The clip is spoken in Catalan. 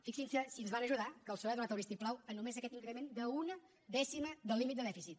fixin se si ens van ajudar que el psoe ha donat el vistiplau a només aquest increment d’una dècima del límit de dèficit